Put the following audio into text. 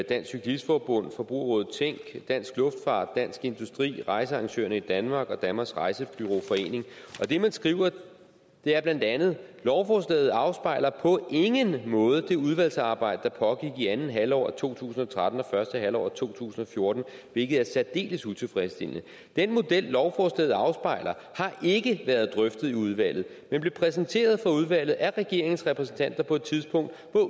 dansk cyklist forbund forbrugerrådet tænk dansk luftfart dansk industri rejsearrangører i danmark og danmarks rejsebureau forening og det man skriver er bla lovforslaget afspejler på ingen måde det udvalgsarbejde der pågik i anden halvår af to tusind og tretten og første halvår af to tusind og fjorten hvilket er særdeles utilfredsstillende den model lovforslaget afspejler har ikke været drøftet i udvalget men blev præsenteret for udvalget af regeringens repræsentanter på et tidspunkt